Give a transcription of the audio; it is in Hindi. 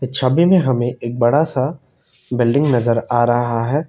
छवि में हमें एक बड़ा सा बिल्डिंग नजर आ रहा है।